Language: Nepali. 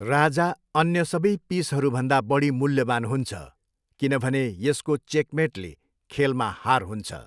राजा अन्य सबै पिसहरूभन्दा बढी मूल्यवान हुन्छ किनभने यसको चेकमेटले खेलमा हार हुन्छ।